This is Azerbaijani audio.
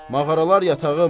Mağaralar yatağım.